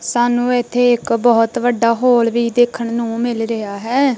ਸਾਨੂੰ ਇੱਥੇ ਇੱਕ ਬਹੁਤ ਵੱਡਾ ਹੋਲ ਵੀ ਦੇਖਣ ਨੂੰ ਮਿਲ ਰਿਹਾ ਹੈ।